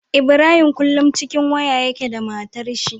Ibrahim kullun cikin waya yake da matar shi